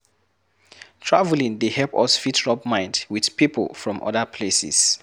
Travelling dey help us fit rub mind with pipo from other places